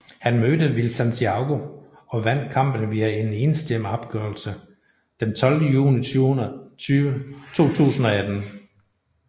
Han mødte Will Santiago og vandt kampen via en enstemmig afgørelse den 12 juni 2018